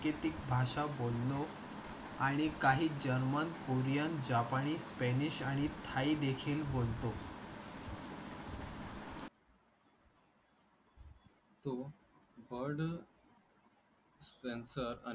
तो आणि काही जर्मन, कोरियन, जपानी, स्पॅनिश आणि थाई देखील बोलतो तो बर्ड्स स्पेन्सर आणि